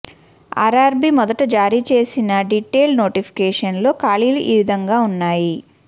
RRB మొదట జారీ చేసిన డీటెయిల్డ్ నోటిఫికేషన్లో ఖాళీలు ఈ విధంగా ఉన్నాయి